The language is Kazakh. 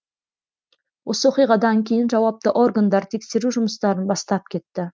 осы оқиғадан кейін жауапты органдар тексеру жұмыстарын бастап кетті